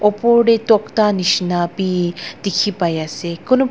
opor tae tokta nishina bi dikhipaiase kunu--